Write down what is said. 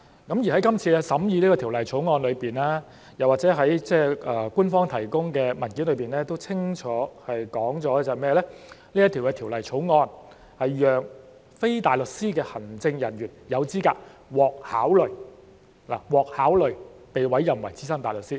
《條例草案》審議期間政府當局曾指出，又或是官方提供的文件都清楚指出，《條例草案》是讓非大律師的律政人員有資格獲考慮——"獲考慮"——被委任為資深大律師。